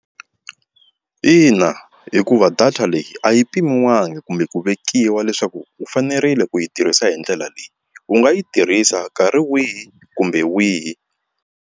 Ina, hikuva data leyi a yi pimewanga kumbe ku vekiwa leswaku u fanerile ku yi tirhisa hi ndlela leyi u nga yi tirhisa nkarhi wihi kumbe wihi.